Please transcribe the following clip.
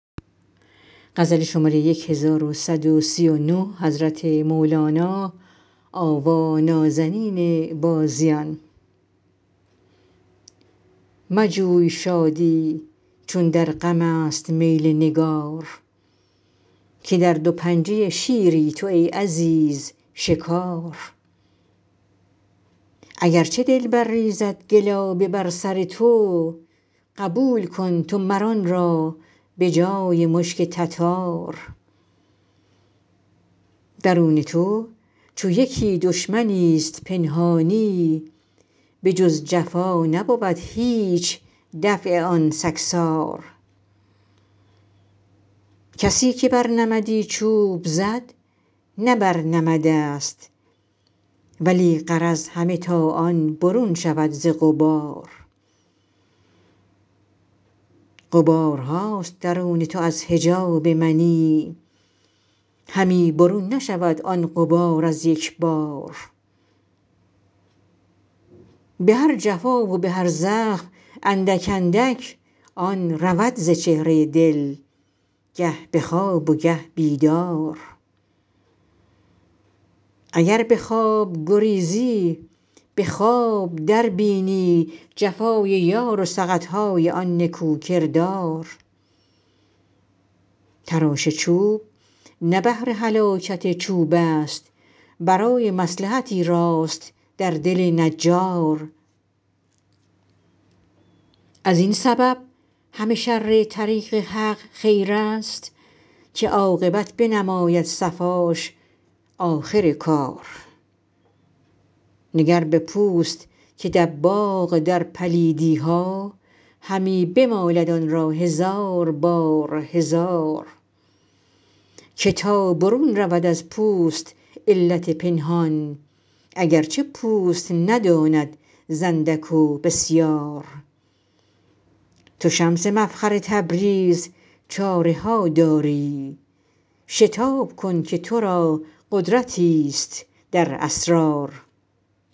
مجوی شادی چون در غمست میل نگار که در دو پنجه شیری تو ای عزیز شکار اگر چه دلبر ریزد گلابه بر سر تو قبول کن تو مر آن را به جای مشک تتار درون تو چو یکی دشمنیست پنهانی بجز جفا نبود هیچ دفع آن سگسار کسی که بر نمدی چوب زد نه بر نمدست ولی غرض همه تا آن برون شود ز غبار غبارهاست درون تو از حجاب منی همی برون نشود آن غبار از یک بار به هر جفا و به هر زخم اندک اندک آن رود ز چهره دل گه به خواب و گه بیدار اگر به خواب گریزی به خواب دربینی جفای یار و سقط های آن نکوکردار تراش چوب نه بهر هلاکت چوبست برای مصلحتی راست در دل نجار از این سبب همه شر طریق حق خیرست که عاقبت بنماید صفاش آخر کار نگر به پوست که دباغ در پلیدی ها همی بمالد آن را هزار بار هزار که تا برون رود از پوست علت پنهان اگر چه پوست نداند ز اندک و بسیار تو شمس مفخر تبریز چاره ها داری شتاب کن که تو را قدرتیست در اسرار